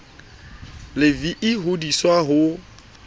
le vii ho diswa ho